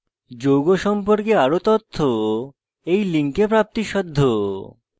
যৌগ সম্পর্কে আরো তথ্য এই link উপলব্ধ